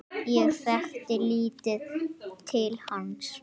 Ég þekkti lítið til hans.